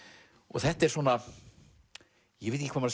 þetta er svona ég veit ekki hvað